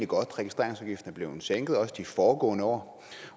godt registreringsafgiften er blevet sænket også de foregående år